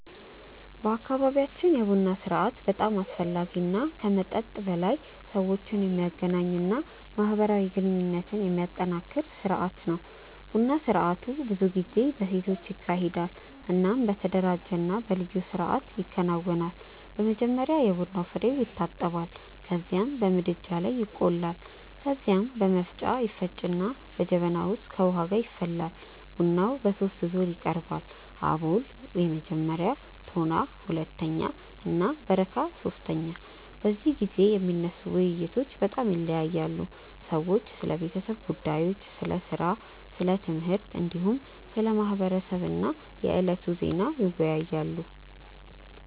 በአካባቢያችን የቡና ስርአት በጣም አስፈላጊ እና ከመጠጥ በላይ ሰዎችን የሚያገናኝ እና ማህበራዊ ግንኙነትን የሚያጠናክር ስርአት ነው። ቡና ስርአቱ ብዙ ጊዜ በሴቶች ይካሄዳል እናም በተደራጀ እና በልዩ ስርአት ይከናወናል። መጀመሪያ የቡና ፍሬዉ ይታጠባል ከዚያም በምድጃ ላይ ይቆላል። ከዚያ በመፍጫ ይፈጭና በጀበና ውስጥ ከውሃ ጋር ይፈላል። ቡናው በሶስት ዙር ይቀርባል፤ አቦል (መጀመሪያ)፣ ቶና (ሁለተኛ) እና በረካ (ሶስተኛ)። በዚህ ጊዜ የሚነሱ ውይይቶች በጣም ይለያያሉ። ሰዎች ስለ ቤተሰብ ጉዳዮች፣ ስለ ሥራ፣ ስለ ትምህርት፣ እንዲሁም ስለ ማህበረሰብ እና የዕለቱ ዜና ይወያያሉ።